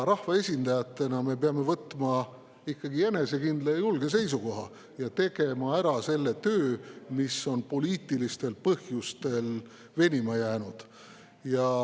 Rahvaesindajatena me peame võtma ikkagi enesekindla ja julge seisukoha ning tegema ära selle töö, mis on poliitilistel põhjustel venima jäänud.